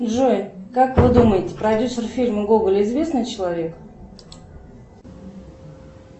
джой как вы думаете продюсер фильма гоголь известный человек